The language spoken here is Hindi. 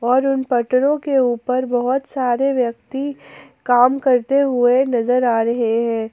और उन पटरों के ऊपर बहुत सारे व्यक्ति काम करते हुए नजर आ रहे हैं।